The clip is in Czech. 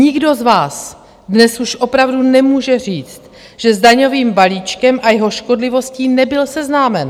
Nikdo z vás dnes už opravdu nemůže říct, že s daňovým balíčkem a jeho škodlivostí nebyl seznámen.